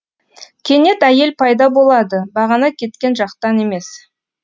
кенет әйел пайда болады бағана кеткен жақтан емес